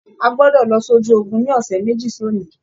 À gbọdọ lọ sójú ogun ní ọsẹ méjì sọni!